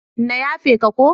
Na yafe ka ko.